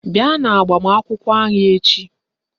Bịa n'agbamakwụkwọ anyị echi!